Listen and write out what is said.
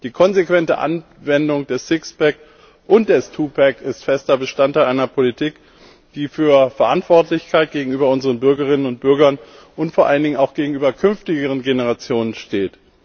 Die konsequente Anwendung des Six pack und des Two pack ist fester Bestandteil einer Politik, die für Verantwortlichkeit gegenüber unseren Bürgerinnen und Bürgern und vor allen Dingen auch gegenüber künftigen Generationen steht.